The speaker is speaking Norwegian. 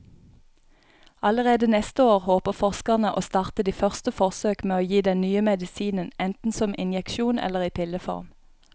Allerede neste år håper forskerne å starte de første forsøk med å gi den nye medisinen enten som injeksjon eller i pilleform.